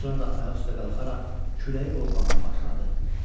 Sonra da ayaq üstə qalxaraq küləyi qoxlamağa başladı.